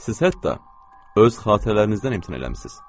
Siz hətta öz xatirələrinizdən imtina eləmisiz.